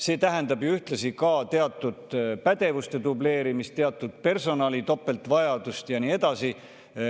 See tähendab ju ühtlasi teatud pädevuste dubleerimist, teatud personali topeltvajadust ja nii edasi.